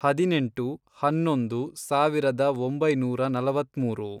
ಹದಿನೆಂಟು, ಹನ್ನೊಂದು, ಸಾವಿರದ ಒಂಬೈನೂರ ನಲವತ್ಮೂರು